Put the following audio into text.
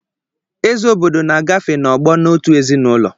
Eze obodo na-agafe n'ọgbọ n'otu ezinụlọ.